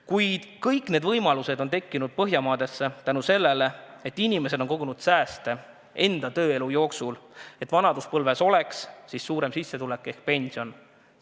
Kuid kõik need võimalused on Põhjamaades tekkinud tänu sellele, et inimesed on tööelu jooksul kogunud sääste, et vanaduspõlves oleks sissetulek ehk pension suurem.